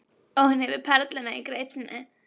Og hún hefur perluna í greip sinni.